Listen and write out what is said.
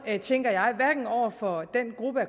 tænker jeg over for den gruppe